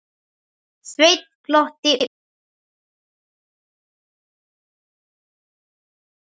Sveinn glotti út í annað.